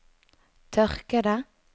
tørkede